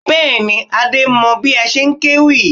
Bẹ́ẹ̀ni, Adé mọ bí a ṣe ń kéwì